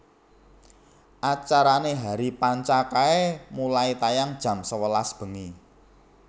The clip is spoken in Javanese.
Acarane Hari Panca kae mulai tayang jam sewelas bengi